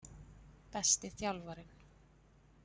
Besti þjálfarinn?